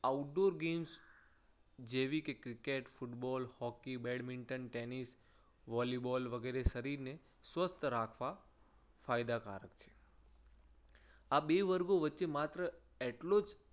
outdoor games જેવી કે cricket, football, hockey, badminton, tennis, volleyball, વગેરે શરીરને સ્વસ્થ રાખવા ફાયદાકારક છે. આ બે વર્ગો વચ્ચે માત્ર એટલો જ